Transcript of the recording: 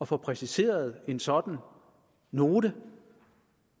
få præsenteret en sådan note